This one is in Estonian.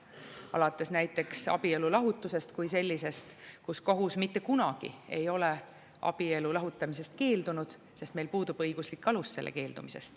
Alates näiteks abielu lahutusest kui sellisest – kohus mitte kunagi ei ole abielu lahutamisest keeldunud, sest meil puudub õiguslik alus sellest keeldumiseks.